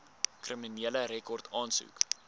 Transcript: kriminele rekord aansoek